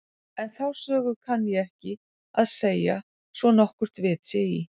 En þá sögu kann ég ekki að segja svo nokkurt vit sé í.